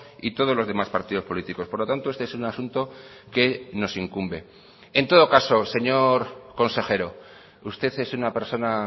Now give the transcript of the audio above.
y todos los demás partidos políticos por lo tanto este es un asunto que nos incumbe en todo caso señor consejero usted es una persona